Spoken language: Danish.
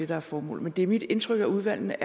der er formålet men det er mit indtryk at udvalgene